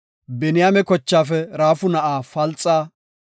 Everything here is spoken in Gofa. Biniyaame kochaafe Raafu na7aa Falxa;